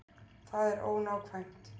Það er ónákvæmt.